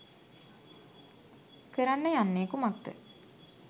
කරන්න යන්නේ කුමක්ද?